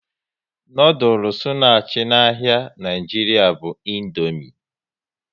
Noodules na achị n'ahia Nigeria bu Indomie